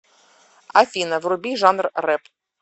афина вруби жанр реп